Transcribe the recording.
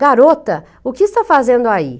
Garota, o que está fazendo aí?